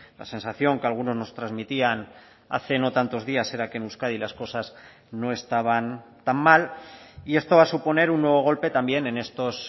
la sensación que algunos nos transmitían hace no tantos días era que en euskadi las cosas no estaban tan mal y esto va a suponer un nuevo golpe también en estos